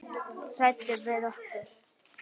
Hræddur við okkur?